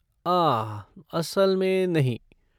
आह, असल में नहीं।